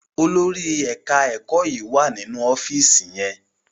Olórí ẹka ẹkọ yí wá nínú ọfiisi yén.